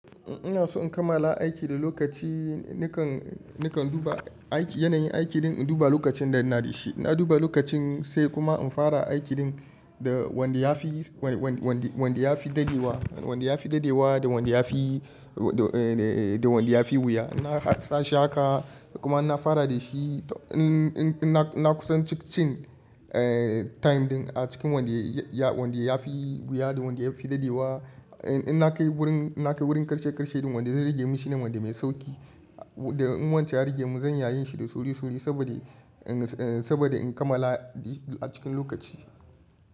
Ina so in kammala aiki da lokaci nikan, nikan duba aiki, yanayin aiki dinnan induba lokacin da ina da shi. Inna duba lokacin sai kuma in fara aikin da wanda yafi, wanda yafi dadewa, wanda yafi dadewa da wanda yafi, da wanda yafi wuya. Na sa shi haƙa kuma inna fara da shi. Ina kusan cikin time din a cikin wanda yafi wuya da wanda yafi dadewa. In na kai wurin, in na kai wurin ƙarshe ƙarshe din wanda zai rage mishi ne wanda mai sauƙi. Da in wanchan ya rage mu zan iya yin shi da sauri sauri saboda, saboda in kammala a cikin lokaci.